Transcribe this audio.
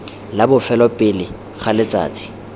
la bofelo pele ga letsatsi